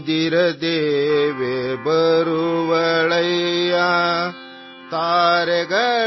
निद्रा देवी आ जायेगी